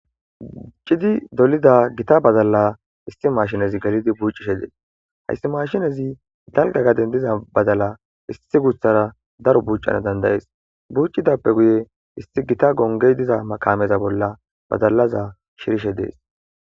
chidi dolida gita badalla isti mashinezi galidi bucishe dees hayssi mashinezi dalga gaden diza badala isti guthara daro buucana dandayees buucidappe guye isti gita gongey diza makameza bolla badalaza shirishe dees